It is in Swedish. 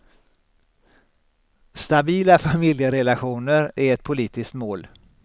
Stabila familjerelationer är ett politiskt mål.